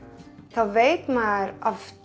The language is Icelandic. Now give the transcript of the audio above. þá veit maður